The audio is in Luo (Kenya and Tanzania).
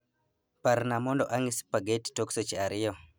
Parna mondo ang'i spageti tok seche ariyo